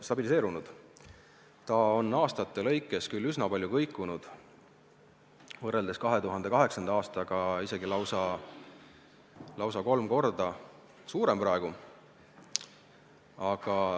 See on aastate lõikes küll üsna palju kõikunud, võrreldes 2008. aastaga on see praegu lausa kolm korda suurem.